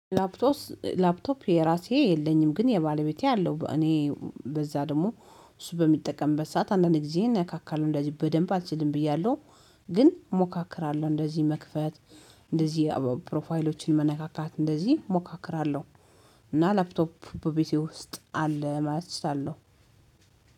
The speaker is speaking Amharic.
ላፕቶፕ የራሴ የለኝም ግን የባለቤቴ አለው እኔ በዛ ደግሞ እሱ በሚጠቀምበት ሰዓት አንዳንድ ጊዜ እናካካለሁ እንደዚህ በደንብ አልችልም ብያለሁ። ግን እሞካክራለሁ እንደዚህ መክፈት እንደዚህ ፕሮፋይሎችን መነካካት እንደዚህ ሞካክራለሁ። እና ላፕቶፕ በቤቴ ውስጥ አለ ማለት እችላለሁ።